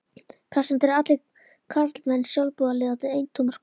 Prestarnir eru allir karlmenn, sjálfboðaliðarnir eintómar kon